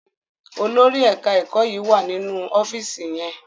Olórí ẹka ẹkọ yí wá nínú ọfiisi yén.